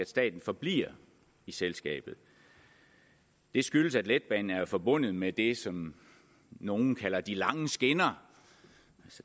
staten forbliver i selskabet det skyldes at letbanen er forbundet med det som nogle kalder de lange skinner